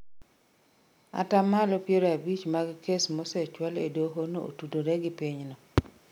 Atamalo piero abich mag kes mosechwal e doho no otudore gi pinyno